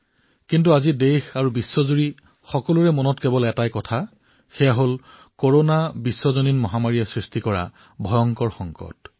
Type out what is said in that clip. কিন্তু আজি দেশ আৰু বিশ্বত এটা বিষয়ৰ ওপৰতেই সৰ্বাধিক চৰ্চা হৈছে আৰু সেয়া হল কৰনা বিশ্বজনীন মহামাৰীৰ ফলত উদ্ভৱ হোৱা ভয়ংকৰ সংকট